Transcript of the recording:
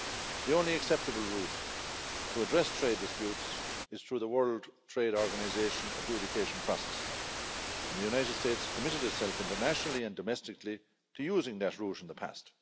The only acceptable route to address trade disputes is through the World Trade Organisation adjudication process and the United States committed itself internationally and domestically to using that route in the past.